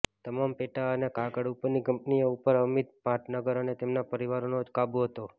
તમામ પેટા અને કાગળ ઉપરની કંપનીઓ ઉપર અમિત ભટનાગર અને તેમના પરિવારનો જ કાબૂ હતો